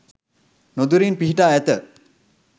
නොදුරින් පිහිටා ඇත